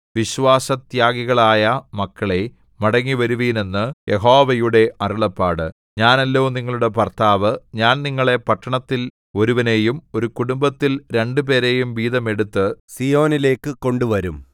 വിശ്വാസത്യാഗികളായ മക്കളേ മടങ്ങിവരുവിൻ എന്ന് യഹോവയുടെ അരുളപ്പാട് ഞാനല്ലോ നിങ്ങളുടെ ഭർത്താവ് ഞാൻ നിങ്ങളെ പട്ടണത്തിൽ ഒരുവനെയും ഒരു കുടുംബത്തിൽ രണ്ടുപേരെയും വീതം എടുത്ത് സീയോനിലേക്കു കൊണ്ടുവരും